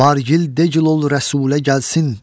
Var gil, degil ol Rəsulə gəlsin.